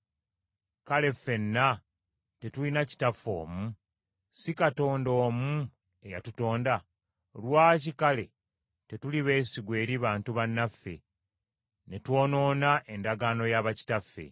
Kale ffenna tetulina kitaffe omu? Si Katonda omu eyatutonda? Lwaki kale tetuli beesigwa eri bantu bannaffe, ne twonoona endagaano ya bakitaffe?